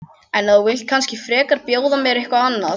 En þú vilt kannski frekar bjóða mér eitthvað annað?